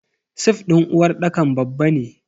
Sif din uwarɗakar babba ne.